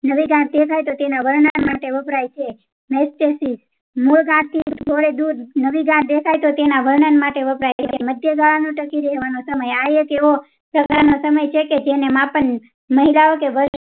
નવી ગાંઠ દેખાય તો તેના વર્ણન માટે વપરાય છે મૂળ ગાંઠ થી થોડેક દુર નવી ગાંઠ દેખાય તો તેના તેના વર્ણન માટે વપરાય છે માંડ્યા ગાળાનો ટકી રહેવાનો સમય થાય તેઓ સાગા સમય છે કે જેમાં આપણ મહિલાઓ કે